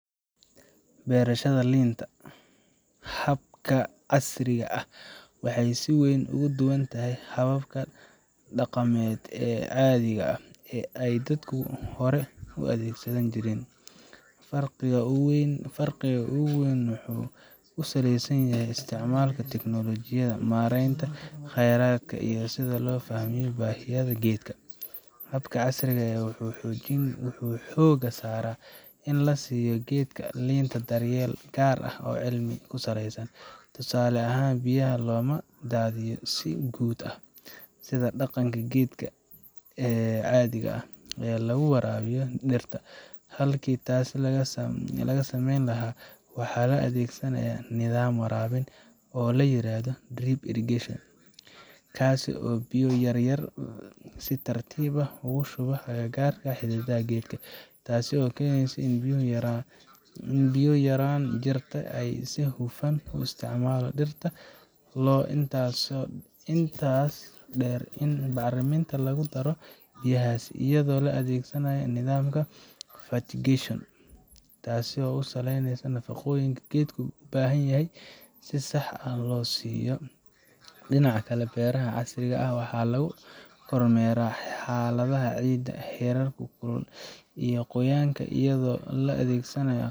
Berashada linta habka casriga ah waxay sii weyn ogadubantahy hababka damed ee cadiga ah ay dadka hore uadegsani jiren, firqiqa uweyn wuxu kusaleysanyahay istacmalka teknolojiyada, marentaa qeradka iyo sidhaa lofahme bahiyadka gedka, habka casriga wuxu xoga sara in lasiyo gedka linta daryel gar ah oo cilmi kusaleysan, tusala ahan biyaha lomadadhiyo, sii guud ah sii daqanka gedka caadhiga eh laguwarabiyo dirta halki tasi lagasameyni lahaay, waxa laa adhegsanah nidaam warabin oo layirada drip irrigation, kasi oo biyo yaryar sii tartib ah ugushubo agagarka xididaha gedka tasi oo keneyso inu biyahu yaran jirto aay sii hufan uu istacmalo dirta intas deer bacriminta lagudaro biyahasi ayado laa adhegsanayo nidamkas fatigation, tasi oo usaleyneyso nafaqoyinka geedka ubahanyahy sii sax ah loo siyo dinacaa kale bereha casriga ah, waxa lagu kormera xaladaha ciidaa herarku iyo qoyanku iyado laa adhegsanayo.